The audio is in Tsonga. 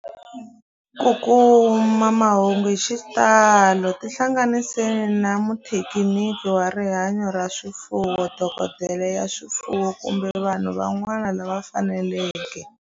Ku kuma mahungu hi xitalo tihlanganisi na muthekiniki wa rihanyo ra swifuwo, dokodela ya swifuwo, kumbe vanhu van'wana lava faneleke.